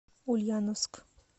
ульяновск